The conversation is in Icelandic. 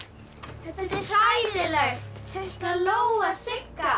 þetta er hræðilegt þau ætla að lóga Sigga